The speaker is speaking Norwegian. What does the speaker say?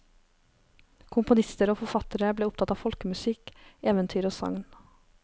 Komponister og forfattere ble opptatt av folkemusikk, eventyr og sagn.